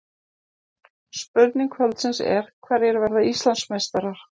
Spurning kvöldsins er: Hverjir verða Íslandsmeistarar?